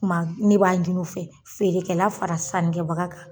Tuma ne b'a ɲin'u fɛ feerekɛla fara sanni kɛbaga kan